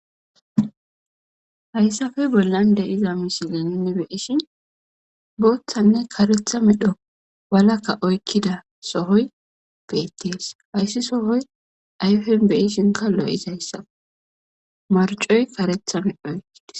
hayssafey bollan de iza misilininne beyishi booththanne karetha midho walakka oykkida sohoy beettees hayssi sohoy ayfen beyishinka lo7izayssae marcoy karethamedh oykkides